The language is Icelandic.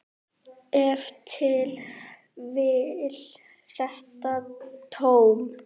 Ef til vill þetta tóm.